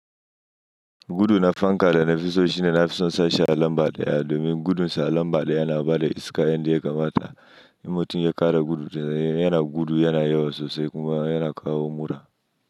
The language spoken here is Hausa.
Gudu na fanka da na fi so shine nafi son in sa shi a lamba daya, domin gudun sa a lambada yana bada iska yan da ya kamata. In mutum ya kara gudu yana gudu yana yawa sosai kuma yana kawo mura.